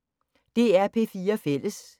DR P4 Fælles